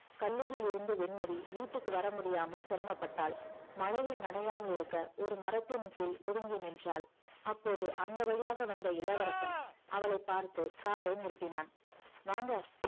கல்லூரியிலிருந்து வெண்மதி வீட்டிற்கு வரமுடியாமல் சிரமப்பட்டாள் மழையில் நானையாமல் இருக்க ஒரு மரத்தின் கீழ் ஒதுங்கி நின்றாள் அப்போது அந்த வழியாக வந்த இளவரசன் அவளைப் பார்த்து காரை நிறுத்தினான்